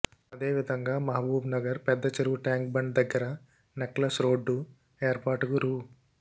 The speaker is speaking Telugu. అదేవిధంగా మహబూబ్నగర్ పెద్ద చెరువు ట్యాంక్ బండ్ దగ్గర నెక్లెస్రోడ్డు ఏర్పాటుకు రూ